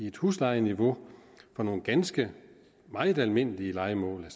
et huslejeniveau for nogle ganske almindelige lejemål